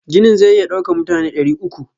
Ginin zai iya daukan mutane dari uku.